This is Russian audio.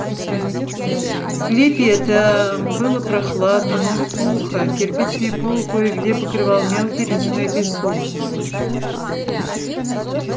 в склепе этом было прохладно но сухо кирпичный пол кое где покрывал мелкий речной песок